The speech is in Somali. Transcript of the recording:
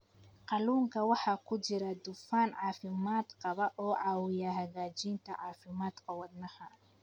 Kalluunka waxaa ku jira dufan caafimaad qaba oo caawiya hagaajinta caafimaadka wadnaha.